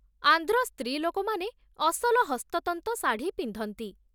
ଆନ୍ଧ୍ର ସ୍ତ୍ରୀଲୋକମାନେ ଅସଲ ହସ୍ତତନ୍ତ ଶାଢ଼ୀ ପିନ୍ଧନ୍ତି